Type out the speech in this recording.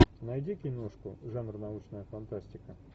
найди киношку жанр научная фантастика